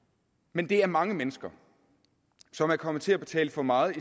men det er mange mennesker som er kommet til at betale for meget